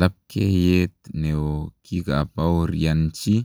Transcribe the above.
Labkeiyeet neo kikapaoryanchii